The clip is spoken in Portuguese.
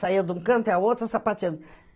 Saía de um canto e a outra sapateando.